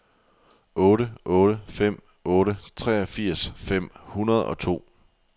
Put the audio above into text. otte otte fem otte treogfirs fem hundrede og to